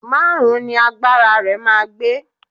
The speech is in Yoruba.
Márùn-ún ni agbára rẹ máa gbé.